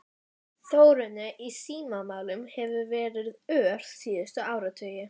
Þróunin í símamálum hefur verið ör síðustu áratugi.